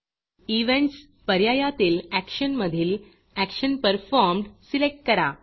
events पर्यायातील action मधील action performed पर्फॉर्म्ड सिलेक्ट करा